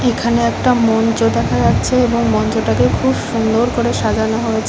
এখানে একটা মঞ্চ দেখা যাচ্ছে এবং মঞ্চটাকে খুব সুন্দর করে সাজানো হয়েছে।